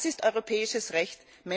Das ist europäisches Recht.